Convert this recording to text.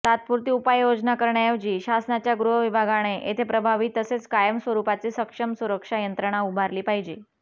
तात्पुरती उपाययोजना करण्याऐवजी शासनाच्या गृहविभागाने येथे प्रभावी तसेच कायम स्वरूपाची सक्षम सुरक्षा यंत्रणा उभारली पाहिजे